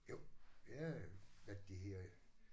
Jo. Jeg øh hvad er det det hedder